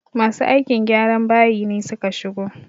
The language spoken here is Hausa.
Masu aikin gyran bayi ne suka shigo